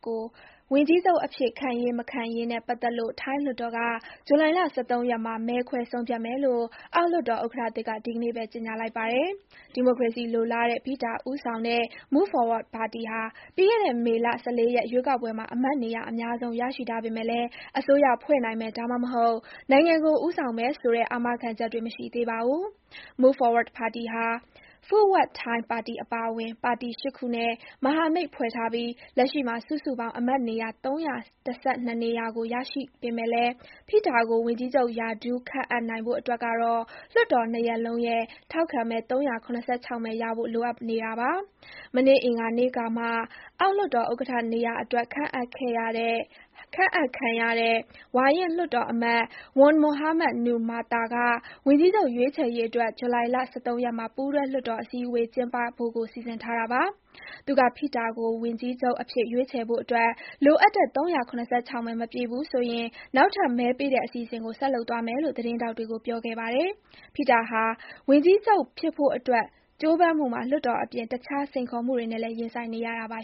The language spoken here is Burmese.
ကိုဝန်ကြီးချုပ်အဖြစ် ခန့်ရေး၊ မခန့်ရေးနဲ့ပတ်သက်လို့ ထိုင်းလွှတ်တော်က ဇူလိုင် ၁၃ ရက်မှာ မဲခွဲဆုံးဖြတ်မယ်လို့အောက်လွှတ်တော်ဥက္ကဋ္ဌသစ်က ဒီနေ့ပဲ ကြေညာလိုက်ပါတယ်။ ဒီမိုကရေစီလိုလားတဲ့ ဖိထာ ဦးဆောင်တဲ့ Move Forward ပါတီဟာ ပြီးခဲ့တဲ့ မေလ၁၄ ရက် ရွေးကောက်ပွဲမှာ အမတ်နေရာအများဆုံး ရရှိထားပေမဲ့လည်း အစိုးရဖွဲ့နိုင်မယ်၊ဒါမှမဟုတ် နိုင်ငံကို ဦးဆောင်မယ်ဆိုတဲ့ အာမခံချက်တော့ မရှိသေးပါဘူး။ Move Forward ပါတီဟာ Pheu Thai (ဖုဝပ် ထိုင်း) ပါတီအပါအဝင် ပါတီ ၈ ခုနဲ့ မဟာမိတ်ဖွဲ့ထားပြီး၊ လက်ရှိမှာ စုစုပေါင်း အမတ်နေရာ ၃၁၂ နေရာကို ရရှိပေမဲ့လည်း ဖိထာ ကို ဝန်ကြီးချုပ်ရာထူးခန့်အပ်နိုင်ဖို့အတွက်ကတော့ လွှတ်တော် နှစ်ရပ်လုံးရဲ့ ထောက်ခံမဲ ၃၇၆ မဲရဖို့ လိုအပ်နေပါတယ်။ မနေ့ အင်္ဂါနေ့ကမှ အောက်လွှတ်တော်ဥက္ကဋ္ဌနေရာအတွက် ခန့်အပ်ခံရတဲ့ ဝါရင့်လွှတ်တော်အမတ် Wan Muhamad Noor Matha (ဝန် မွတ်ဟာမတ် နူးရ် မာသာ) က ဝန်ကြီးချုပ်ရွေးချယ်ရေးအတွက် ဇူလိုင် ၁၃ ရက်မှာ ပူးတွဲလွှတ်တော်အစည်းအဝေး ကျင်းပဖို့ကို စီစဉ်ထားတာပါ။ သူက ဖိထာကို ဝန်ပြီးချုပ်အဖြစ်ရွေးချယ်ဖို့အတွက် လိုအးပ်တဲ့ “၃၇၆ မဲ မပြည့်ဘူးဆိုရင် နောက်ထပ် မဲပေးတဲ့အစီအစဥ◌်ကို ဆက်လုပ်သွားမယ်” လို့ သတင်းထောက်တွေကို ပြောခဲ့ပါတယ်။ ဖိထာ ဟာ ဝန်ကြီးချုပ်ဖြစ်ဖို့အတွက်ကြိုးပမ်းမှုမှာ လွှတ်တော်အပြင် တခြား စိန်ခေါ်မှုတွေနဲ့လည်း ရင်ဆိုင်နေရတာပါ